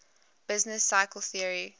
business cycle theory